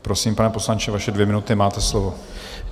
Prosím, pane poslanče, vaše dvě minuty, máte slovo.